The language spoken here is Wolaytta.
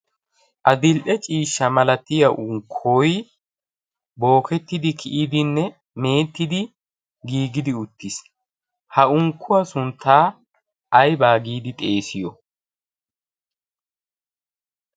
adilde ciishsha malatiya unkkoi bookettidi kiyidinne meettidi giigidi uttiis. ha unkkuwaa sunttaa aibaa giidi xeesiyo?